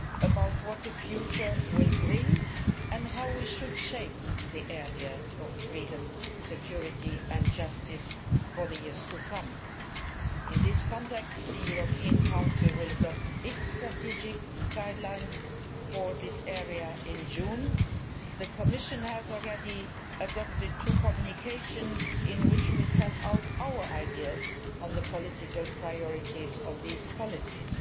about what the future will bring and how we should shape the area of freedom, security and justice for the years to come. In this context the European Council will adopt its strategy guidelines for this area in June. The Commission has already adopted two communications in which we set out our ideas on the political priorities of these policies.